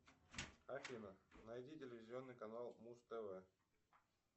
афина найди телевизионный канал муз тв